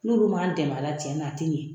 N'olu m'an dɛmɛa la tiɲɛ na a te ɲɛ.